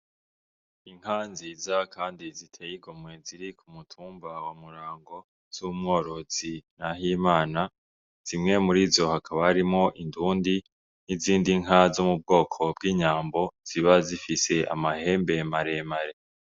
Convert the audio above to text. Inka nziza kandi ziteye igomwe ziri ku mutumba wa Murango z'umworozi Nahimana, zimwe mur'izo hakaba harimwo indundi, n'izindi nka zo mu bwoko bw'inyambo ziba zifise amahembe maremare.